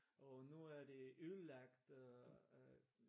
Og nu er de ødelagte